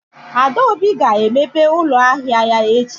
Adaobi ga-emepe ụlọ ahịa ya echi?